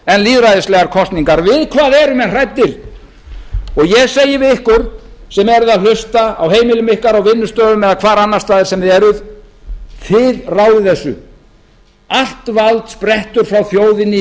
en lýðræðislegar kosningar við hvað eru menn hræddir og ég segi við ykkur sem eruð að hlusta á heimilum ykkar á vinnustöðum eða hvar annars staðar sem þið eruð þið ráðið þessu allt vald sprettur frá þjóðinni í